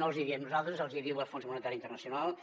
no els hi diem nosaltres els hi diu el fons monetari internacional